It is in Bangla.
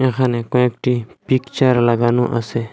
এখানে কয়েকটি পিকচার লাগানো আছে।